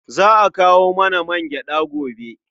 Za a kawo mana mangyaɗa gobe.